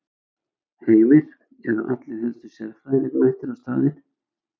Heimir, eru allir helstu sérfræðingarnir mættir á staðinn?